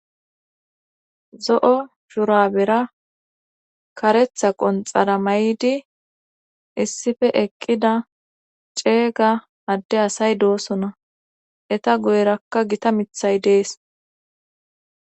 Zo'o shurabera karetha qonxara may'di issife eqqida ceega adde asay doosona eta goyrakka gita mithay dees.